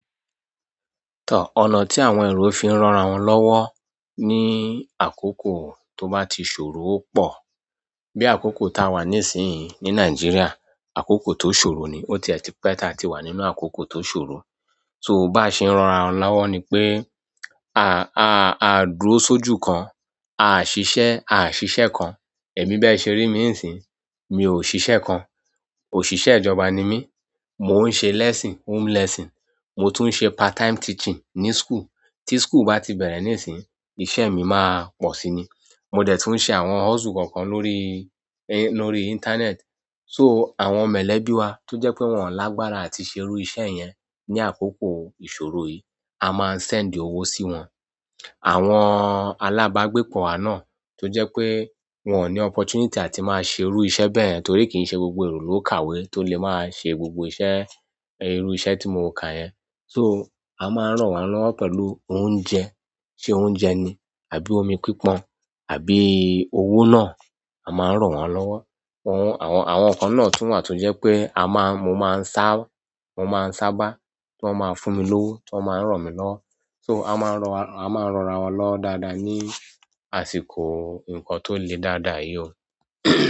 Tọ, ọ̀nà tí àwọn èrò fiń ran rawọn lọ́wọ́ ní àkókò tó bá ti ṣòro pọ̀. Bi akoko ta wa nisinyii ni Nigeria, akoko to sọ̀rọ̀ ni ó tiẹ tì pé ta ti wà nínú àkókò tó ṣòro. So bá ṣe ń ran rawa lọ́wọ́ ni pé, a, a, a dúró sójú kan, a ṣiṣẹ́, a ṣiṣẹ́ kan. Ẹ̀mí bẹ́ẹ̀ ṣe rí mí ń sìn, mi ò ṣiṣẹ́ kan. Òṣìṣẹ́ ìjọba ni mí, mò ń ṣe lesson, home lesson. Mo tún ń ṣe part-time teaching ní school. Tí school bá ti bẹ̀rẹ̀ níìsín, ìṣe mi máa pọ̀ si ni. Mo dẹ̀ tún ṣe àwọn hustle kan kan lórí, i, lórí internet. So àwọn mọ̀lẹ́bí wa tó jẹ́ pé wọ́n lágbára àti ṣe irú iṣẹ́ yẹn ní àkókò ìṣòro yìí, a máa ń send owó sí wọn. Àwọn alábágbépọ̀ wa náà tó jẹ́ pé wọ́n ò ní opportunity àti máa ṣe irú iṣẹ́ bẹ́ẹ̀ torí kìí ṣe gbogbo èrò ló kàwé tó lè máa ṣe gbogbo iṣẹ́, irú iṣẹ́ tí mo kà yẹn. So a máa ń ran won lọ́wọ́ pẹ̀lú oúnjẹ, ṣe oúnjẹ ni àbí omi pípon àbí owó náà, a máa ń ran won lọ́wọ́. Wọ́n, àwọn, àwọn kan náà tún wà tó jẹ́ pé a máa, mo máa ń sá, mo máa ń sábá, tí wọ́n máa fún mi lówó tí wọ́n máa ń ran mí lọ́wọ́. So a máa ń ran- a máa ń ran rawa lọ́wo dáadáa ní àsìkò nǹkan tó le dáadáa yìí o.